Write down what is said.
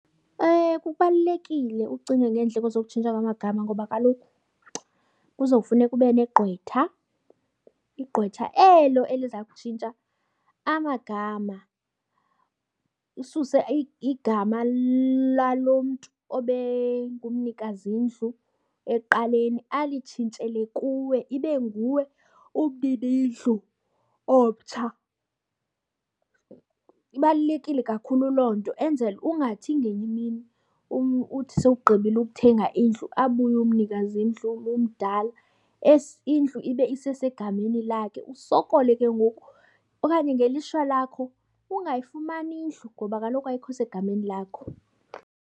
Kubalulekile ucinge ngeendleko zokutshintsha kwamagama ngoba kaloku kuzofuneka ube negqwetha. Igqwetha elo eliza kutshintsha amagama. Ususe igama lalo mntu obengumnikazindlu ekuqaleni alitshintshele kuwe, ibe nguwe umninindlu omtsha. Ibalulekile kakhulu loo nto. Enzele ungathi ngenye imini uthi sowugqibile ukuthenga indlu abuye umnikazindlu lo umdala, indlu ibe isesegameni lakhe. Usokole ke ngoku okanye ngelishwa lakho ungayifumani indlu ngoba kaloku ayikho segameni lakho.